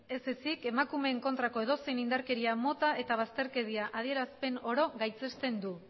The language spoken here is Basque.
ez ezik emakumeen kontrako edozein indarkeria mota eta bazterkeria adierazpen oro gaitzesten du